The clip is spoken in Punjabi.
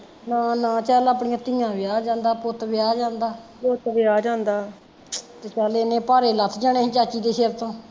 ਹਾ ਨਾ ਚੱਲ ਆਪਣੀਆ ਧੀਆ ਵਿਆਹ ਜਾਂਦਾ ਪੁੱਤ ਵਿਆਹ ਜਾਂਦਾ ਤੇ ਚੱਲ ਏਨੇ ਭਾਰੇ ਲੱਥ ਜਾਣੇ ਸੀ ਚਾਚੀ ਦੇ ਸਿਰ ਤੋਂ